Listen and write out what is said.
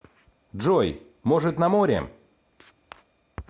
джой может на море